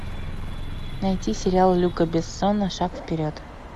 найти сериал люка бессона шаг вперед